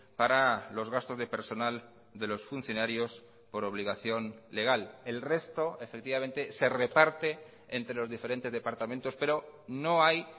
para los gastos de personal de los funcionarios por obligación legal el resto efectivamente se reparte entre los diferentes departamentos pero no hay